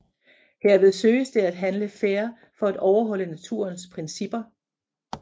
Herved søges det at handle fair for at overholde naturens principper